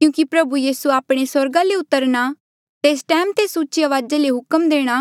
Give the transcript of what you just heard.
क्यूंकि प्रभु यीसू आपणे आप स्वर्गा ले उतरणा तेस टैम तेस उची अवाजा किन्हें हुक्म देणा